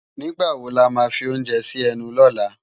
Nigbá wó lá má fi óounjè si ènú lòlá?